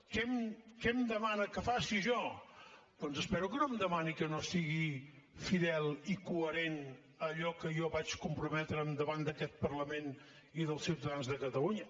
què em demana que faci jo doncs espero que no em demani que no sigui fidel i coherent amb allò a què jo vaig comprometre’m davant d’aquest parlament i dels ciutadans de catalunya